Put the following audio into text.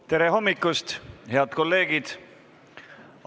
Tere hommikust, head kolleegid!